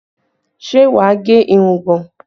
Ṣé wà á gẹ irugbọ̀n?